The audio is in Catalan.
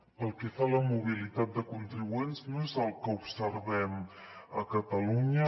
pel que fa a la mobilitat de contribuents no és el que observem a catalunya